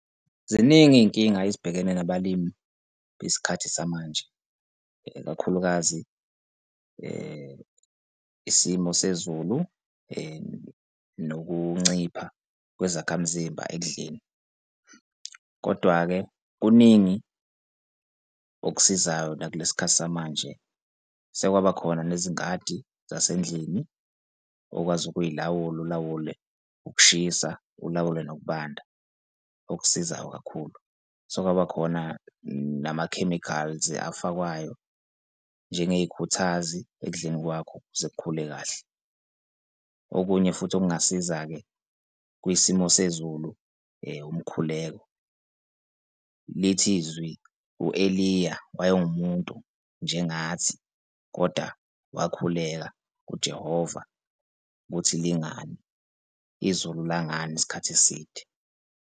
Ziningi iy'nkinga ezibhekene nabalimi besikhathi samanje, ikakhulukazi isimo sezulu nokuncipha kwezakhamzimba ekudleni. Kodwa-ke kuningi okusizayo la kule sikhathi samanje sekwabakhona nezingadi zasendlini okwazi ukuy'lawula, ulawule ukushisa ulawule nokubanda okusizayo kakhulu. Sekwaba khona nama-chemicals afakwayo njengey'khuthazi ekudleni kwakho ukuze kukhule kahle. Okunye futhi, okungasiza-ke kwisimo sezulu, umkhuleko lithi izwe u-Eliya wayewumuntu njengathi, kodwa wakhuleka kuJehova ukuthi lingani, izulu langani isikhathi eside.